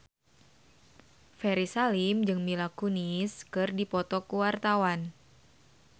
Ferry Salim jeung Mila Kunis keur dipoto ku wartawan